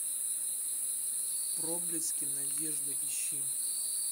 проблески надежды ищи